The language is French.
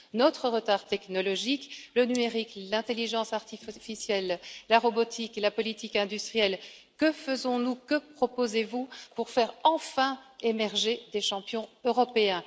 Notre retard technologique, le numérique, l'intelligence artificielle, la robotique et la politique industrielle que faisons nous, que proposez vous pour faire enfin émerger des champions européens?